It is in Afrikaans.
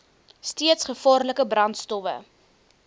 steeds gevaarlike brandstowwe